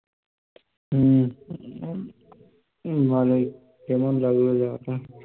হম ভালোই কেমন লাগলো জায়গাটা?